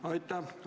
Aitäh!